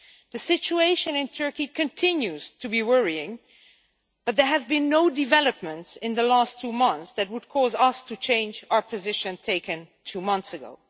The situation in Turkey continues to be worrying, but there have been no developments in the last two months that would cause us to change the position we took two months ago.